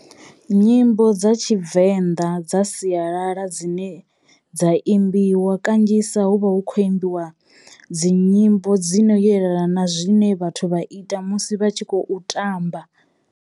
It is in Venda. Nyimbo dza tshivenḓa dza sialala dzine dza imbiwa kanzhisa hu vha hu khou imbiwa dzi nyimbo dzino yelana na zwine vhathu vha ita musi vha tshi khou tamba.